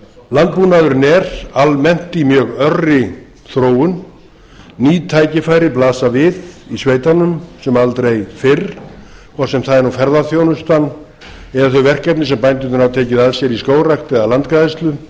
landbúnaðurinn er almennt í mjög örri þróun ný tækifæri blasa við í sveitunum sem aldrei fyrr hvort sem það er nú ferðaþjónustan eða þau verkefni sem bændurnir hafa tekið að sér í skógrækt eða landgræðslu